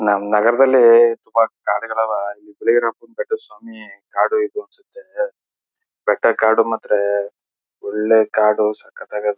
ನಮ್ಮ ನಗರದಲ್ಲಿ ತುಂಬ ಕಾಡ್ಗಳ್ ಆವಾ ಬಿಲ್ಗೇರಿಯಪ್ಪನ ಬೆಟ್ಟದ್ ಸ್ವಾಮಿ ಕಾಡು ಇದು ಅನ್ಸುತ್ತೆ ಬೆಟ್ಟಾ ಕಾಡು ಮಾತ್ರ ಒಳ್ಳೆ ಕಾಡು ಸಕ್ಕತಾಗದೆ.